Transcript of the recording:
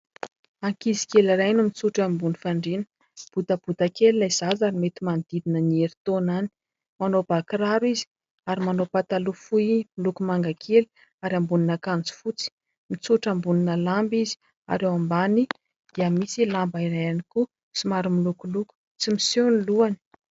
Ankizy kely iray no mitsotra ambony fandriana. Botabota kely ilay zaza ary mety manodidina ny herintaona any. Manao bà kiraro izy ary manao pataloha fohy miloko manga kely ary ambonin'akanjo fotsy. Mitsotra ambonina lamba izy ary eo ambany dia misy lamba iray ihany koa somary milokoloko. Tsy miseho ny lohany.